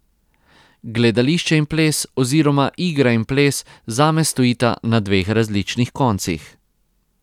Gledališče in ples oziroma igra in ples zame stojita na dveh različnih koncih.